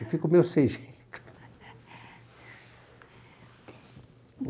Eu fico meio sem jeito.